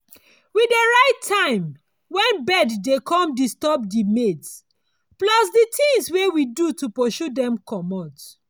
we dey write time when bird dey come disturb di maize plus di things wey we do to pursue dem comot.